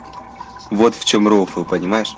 вот в чем рофл понимаешь